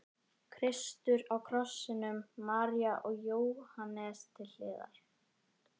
Kristur á krossinum, María og Jóhannes til hliðar.